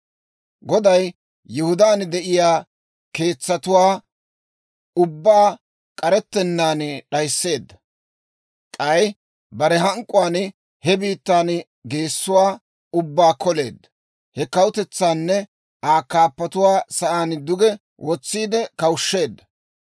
Goday Yihudaan de'iyaa keetsatuwaa ubbaa k'arettennaan d'ayisseedda. K'ay bare hank'k'uwaan he biittaa geessuwaa ubbaa koleedda. He kawutetsaanne Aa kaappotuwaa sa'aan duge wotsiide kawushshiseedda.